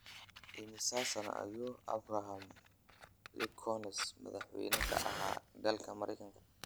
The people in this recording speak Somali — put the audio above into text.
Immisa sano ayuu Abraham lincoln madaxweyne ka ahaa dalka Maraykanka